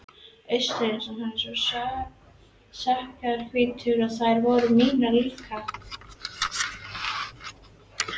Augasteinar hans voru skjannahvítir og það voru mínir líka.